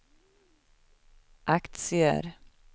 aktier